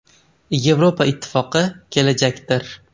Yevropa Ittifoqi kelajakdir.